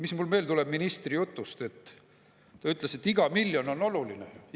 Mis mul veel tuleb meelde ministri jutust: ta ütles, et iga miljon on oluline.